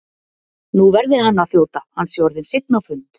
Nú verði hann að þjóta, hann sé orðinn seinn á fund.